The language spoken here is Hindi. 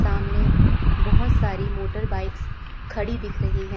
सामने बहोत सारी मोटर बाइक्स खड़ी दिख रही है।